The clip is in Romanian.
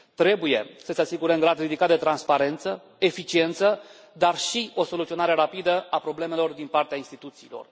Trebuie să se asigure un grad ridicat de transparență, eficiență, dar și o soluționare rapidă a problemelor din partea instituțiilor.